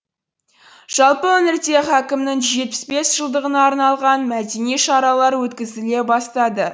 жалпы өңірде хәкімнің жүз жетпіс бес жылдығына арналған мәдени шаралар өткізіле бастады